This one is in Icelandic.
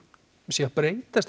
sé að breytast